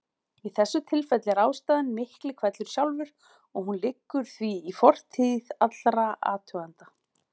Í þessu tilfelli er sérstæðan miklihvellur sjálfur og hún liggur því í fortíð allra athugenda.